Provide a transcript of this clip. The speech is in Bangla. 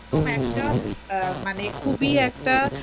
একদম একটা মানে খুবই একটা